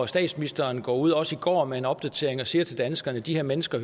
statsministeren går ud også i går med en opdatering og siger til danskerne at de her mennesker